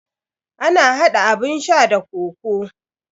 Ana hada abun sha da kokoo.